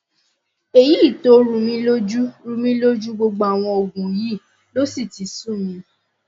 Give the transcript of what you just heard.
èyí tó rúmi lójú rúmi lójú gbogbo àwọn òògùn yìí ló sì ti sú mi